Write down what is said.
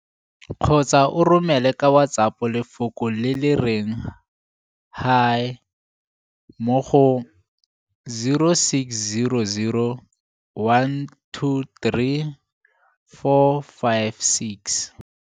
kgotsa o romele ka WhatsApp lefoko le le reng 'Hi' mo go 0600 123 456.